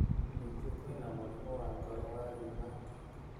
Ningĩ kwĩna mũrimũ wa ngoro wa rheumatic